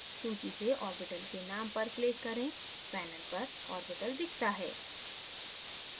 सूची से orbital के name पर click करें panel पर orbital दिखता है